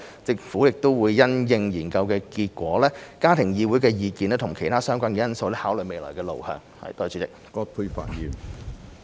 政府會因應研究結果、家庭議會的意見及其他相關的因素，考慮未來路向。